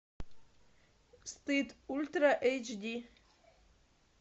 стыд ультра эйч ди